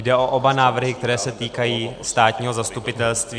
Jde o oba návrhy, které se týkají státního zastupitelství.